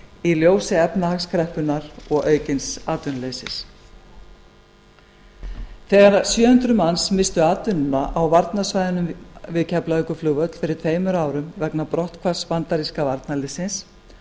í ljósi efnahagskreppunnar og aukins atvinnuleysis þegar sjö hundruð manns misstu atvinnuna á varnarsvæðinu við keflavíkurflugvöll fyrir tveimur árum vegna brotthvarfs bandaríska varnarliðsins